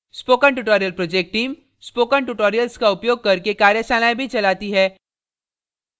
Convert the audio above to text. spoken tutorial project team spoken tutorials का उपयोग करके कार्यशालाएँ भी चलाती है